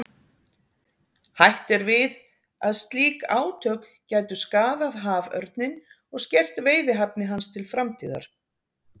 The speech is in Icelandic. Hætt er við að slík átök gætu skaðað haförninn og skert veiðihæfni hans til framtíðar.